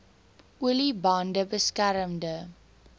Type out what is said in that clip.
olie bande beskermende